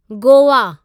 Goa